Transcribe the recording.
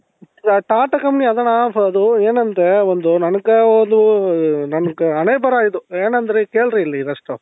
tata company ಆದಾಣ್ಣ ಅದು ಏನಂದ್ರೆ ಒಂದು ನoಗ ಅದು ನನಗೆ ಹಣೆ ಬರ ಇದು ಏನಂದ್ರೆ ಕೇಳ್ರಿ ಇಲ್ಲಿ firstಟು